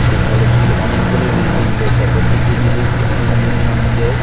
সেই কলেজ -গুলো অনেকগুলি বিল্ডিং রয়েছে প্রত্যেকটি বিল্লি খুব সুন্দর নীল রং দিয়ে--